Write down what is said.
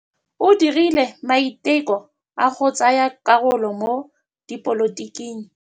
O dirile maitekô a go tsaya karolo mo dipolotiking.